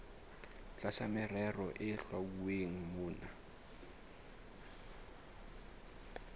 tlasa merero e hlwauweng mona